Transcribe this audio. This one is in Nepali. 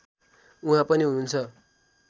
उहाँ पनि हुनुहुन्छ